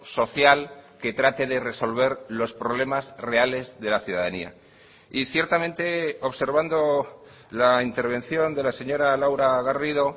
social que trate de resolver los problemas reales de la ciudadanía y ciertamente observando la intervención de la señora laura garrido